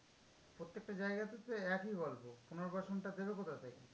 প্রত্যেকটা জায়গাতে তো একই গল্প, পুনর্বাসনটা দেবে কোথা থেকে?